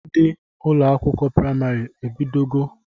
Ndị ụlọakwụkwọ praịmarị ọ bido go?